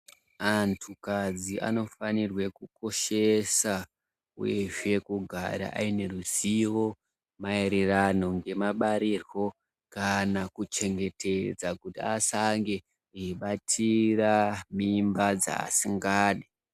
Andukadzi anofanirwa kukoshesa uyezve kugara aine ruzivo maererano ngemabarirwo kana kuchengetedza kuti asange eibatira mimba dzavasingadi.